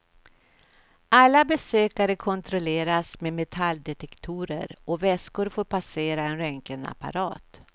Alla besökare kontrolleras med metalldetektorer och väskor får passera en röntgenapparat.